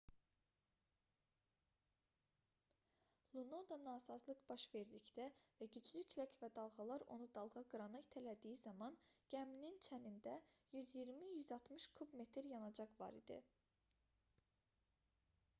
lunoda nasazlıq baş verdikdə və güclü külək və dalğalar onu dalğaqırana itələdiyi zaman gəminin çənində 120-160 kub metr yanacaq var idi